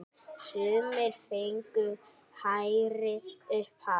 Sumir fengu hærri upphæð.